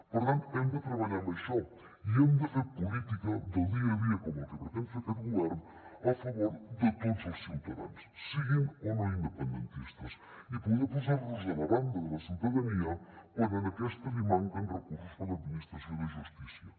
per tant hem de treballar amb això i hem de fer política del dia a dia com la que pretén fer aquest govern a favor de tots els ciutadans siguin o no independentistes i poder posar nos a la banda de la ciutadania quan a aquesta li manquen recursos per a l’administració de justícia